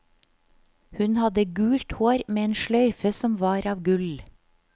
Hun hadde gult hår med en sløyfe som var av gull.